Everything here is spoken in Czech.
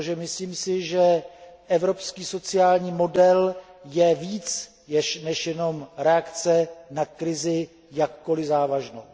Myslím si, že evropský sociální model je víc než jenom reakce na krizi, jakkoli závažnou.